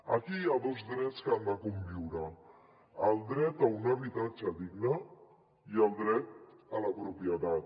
aquí hi ha dos drets que han de conviure el dret a un habitatge digne i el dret a la propietat